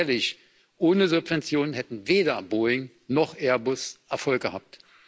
Denn seien wir ehrlich Ohne Subventionen hätten weder Boeing noch Airbus Erfolg gehabt.